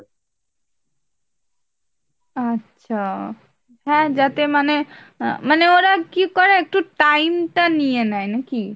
আচ্ছা, হ্যাঁ যাতে মানে আহ মানে ওরা কি করে একটু time টা নিয়ে নেয় নাকি ?